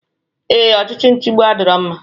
Ee, ọchịchị nchigbu adirọ mma.